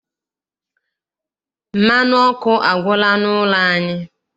Mmanụ ọkụ agwụla n'ụlọ anyị.